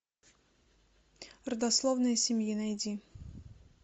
родословная семьи найди